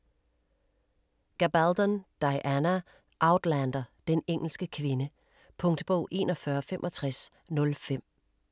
3. Gabaldon, Diana: Outlander: Den engelske kvinde Punktbog 416505